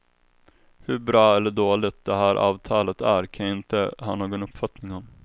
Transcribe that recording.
Hur bra eller dåligt det här avtalet är kan jag inte ha någon uppfattning om.